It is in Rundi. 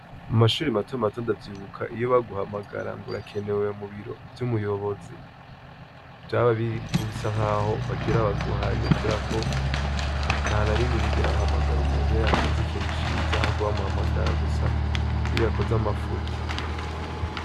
Mu mashuri mato mato ndavyibuka iyo baguhamagara ngo urakenewe mubiro vy'umuyobozi, vyaba mubisa nk'aho bagira abaguhane, kubera ko nta narimwe bigera bahamagara umuntu iyo yakoze ikintu ciza, ahubwo bamuhamagara gusa iyo yakoze amafuti.